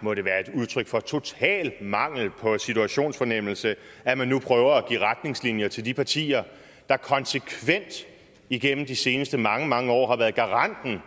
må det være et udtryk for total mangel på situationsfornemmelse at man nu prøver at give retningslinjer til de partier der konsekvent igennem de seneste mange mange år har været garanter